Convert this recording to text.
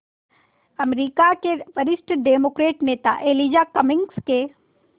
अमरीका के वरिष्ठ डेमोक्रेट नेता एलिजा कमिंग्स के